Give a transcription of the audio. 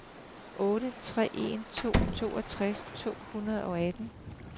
otte tre en to toogtres to hundrede og atten